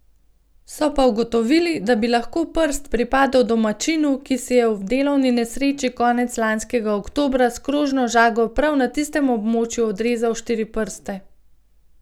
So pa ugotovili, da bi lahko prst pripadal domačinu, ki si je v delovni nesreči konec lanskega oktobra s krožno žago prav na tistem območju odrezal štiri prste.